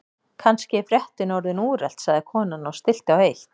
Kannski er fréttin orðin úrelt sagði konan og stillti á eitt.